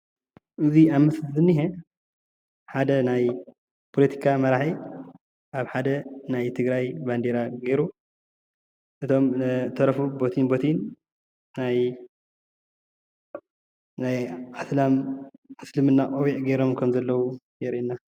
እዚ ኣብ ምስሊ ዝንሄ ሓደ ናይ ፖለቲካ መራሒ ኣብ ሓደ ናይ ትግራይ ባንደራ ጌሩ እቶም ዝተረፉ በቲዩን በቲዩን ናይ እስላም እስልምና ቆቢዕ ጌሮም ከም ዘለዉ የርእይ እዩ፡፡